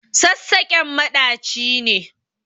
Sassaƙen maɗaci ne.